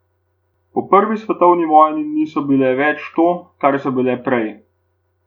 Po prvi svetovni vojni niso bile več to, kar so bile prej.